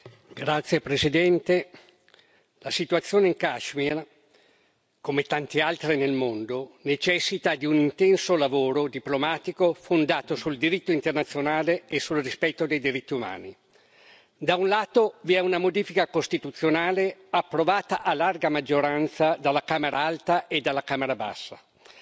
Signor Presidente, onorevoli colleghi, la situazione in Kashmir, come tante altre nel mondo, necessita di un intenso lavoro diplomatico, fondato sul diritto internazionale e sul rispetto dei diritti umani. Da un lato vi è una modifica costituzionale, approvata a larga maggioranza dalla Camera alta e dalla Camera bassa.